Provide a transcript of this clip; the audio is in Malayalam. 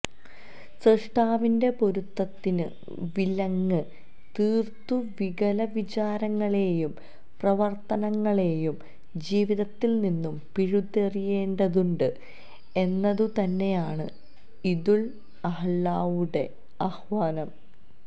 സ്രഷ്ടാവിന്റെ പൊരുത്തത്തിനു വിലങ്ങ് തീര്ക്കു വികല വിചാരങ്ങളെയും പ്രവര്ത്തനങ്ങളെയും ജീവിതത്തില് നിന്ന്് പിഴുതെറിയേണ്ടതുണ്ട് എന്നതുതന്നെയാണ് ഈദുല് അള്ഹയുടെ ആഹ്വാനം